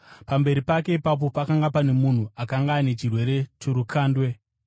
Pamberi pake ipapo pakanga pane munhu akanga ane chirwere chorukandwe.